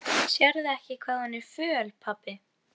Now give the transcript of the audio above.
Sérðu ekki hvað hún er föl, pabbi?